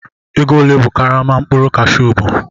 Ego ole ka karama mkpụrụ Kashu bu?